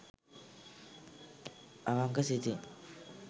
අවංක සිතින්